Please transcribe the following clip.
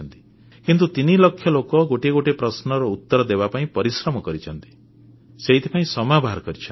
କିନ୍ତୁ ତିନି ଲକ୍ଷ ଲୋକ ଗୋଟିଏ ଗୋଟିଏ ପ୍ରଶ୍ନର ଉତ୍ତର ଦେବାପାଇଁ ପରିଶ୍ରମ କରିଛନ୍ତି ସେଥିପାଇଁ ସମୟ ବାହାର କରିଛନ୍ତି